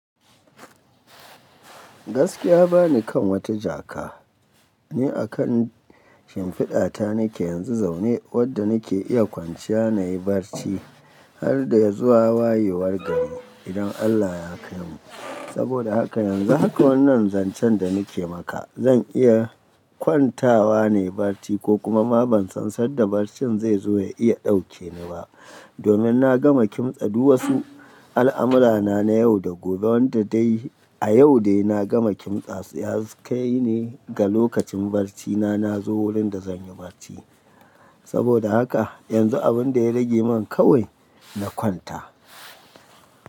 Gaskiya bani kan wata jaka ne a kan shimfiɗa ta nake yanzu zaune, wadda nake iya kwanciya na yi barci har dai zuwa wayewar gari idan Allah ya kaimu. Saboda haka yanzu haka wannan zancen da nake maka zan iya kwantawa na yi barci ko kuma ma ban san da barcin zai zo ya iya ɗauke ni ba. Domin na gama kimtsa duk wasu al'amura na na yau da gobe wanda dai a yau dai na gama kimtsa su, ya kai ne ga lokacin barci na, na zo wurin da zan yi barci. Saboda haka yanzu abun da ya rage min kawai na kwanta.